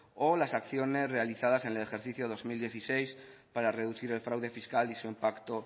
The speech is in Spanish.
o las acciones realizadas en el ejercicio dos mil dieciséis para reducir el fraude fiscal y su impacto